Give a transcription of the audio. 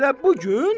Elə bu gün?